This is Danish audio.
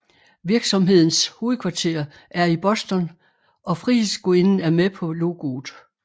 Virksomhedens hovedkvarter er i Boston og Frihedsgudinden er med på logoet